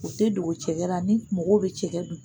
O tɛ dogo cɛgɛ ra ni mɔgɔw bɛ cɛgɛ dun